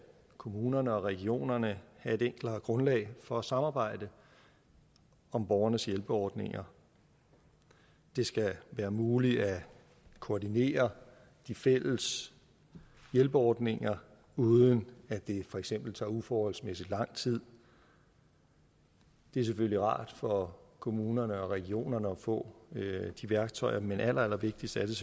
kommunerne og regionerne have et enklere grundlag for at samarbejde om borgernes hjælperordninger det skal være muligt at koordinere de fælles hjælperordninger uden at det for eksempel tager uforholdsmæssig lang tid det er selvfølgelig rart for kommunerne og regionerne at få de værktøjer men allerallervigtigst er det